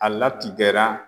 A latigɛra